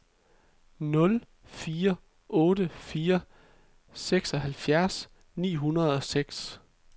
nul fire otte fire seksoghalvfjerds ni hundrede og seks